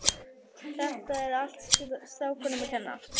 Þetta er allt strákunum að kenna.